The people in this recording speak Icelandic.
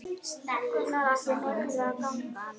Gunnar Atli: Mikilvæg gangan?